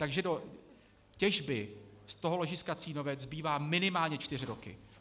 Takže do těžby z toho ložiska Cínovec zbývá minimálně čtyři roky.